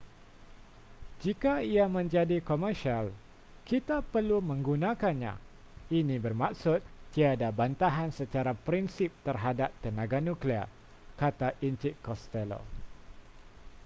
jika ia menjadi komersial kita perlu menggunakannya ini bermaksud tiada bantahan secara prinsip terhadap tenaga nuklear kata encik costello